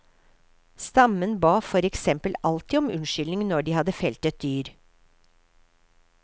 Stammen ba for eksempel alltid om unnskyldning når de hadde felt et dyr.